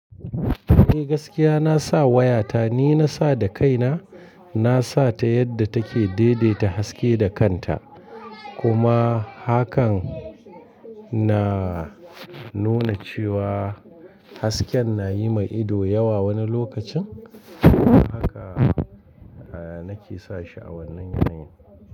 Eh gaskiya na sa wayata, ni na sa da kaina. Na sa ta yadda take daidaita haske da kanta. Kuma hakan na nuna cewa hasken na yi mai ido yawa wani lokacin. Haka nake sa shi a wannan yanayin.